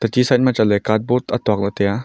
techi side ma card board atuakla taiya.